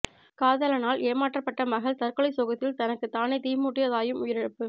காதலனால் ஏமாற்றப்பட்ட மகள் தற்கொலை சோகத்தில் தனக்கு தானே தீ மூட்டிய தாயும் உயிரிழப்பு